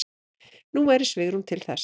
Nú væri svigrúm til þess.